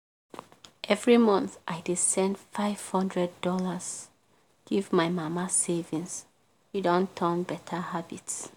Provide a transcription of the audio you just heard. every month i dey send five hundred dollars give my mama savings e don turn beta habit.